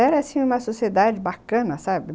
Era assim uma sociedade bacana, sabe?